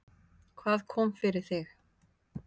Hvað kom fyrir þig?